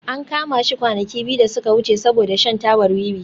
An kama shi kwanaki biyu da suka wuce saboda shan tabar wiwi